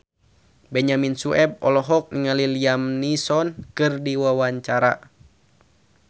Benyamin Sueb olohok ningali Liam Neeson keur diwawancara